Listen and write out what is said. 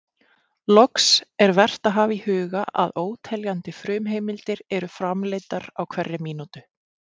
Loks, er vert að hafa í huga að óteljandi frumheimildir eru framleiddar á hverri mínútu.